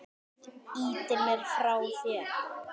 Ýtir mér frá þér.